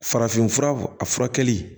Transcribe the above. Farafinfura a furakɛli